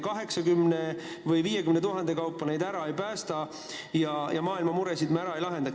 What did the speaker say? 80 või 50 000 kaupa neid ära päästa me ei suuda, maailma muresid me ära ei lahenda.